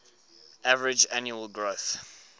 average annual growth